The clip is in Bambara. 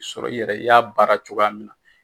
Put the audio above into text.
sɔrɔ i yɛrɛ i y'a baara cogoya min na